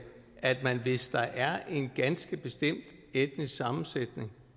at man hvis der er en ganske bestemt etnisk sammensætningen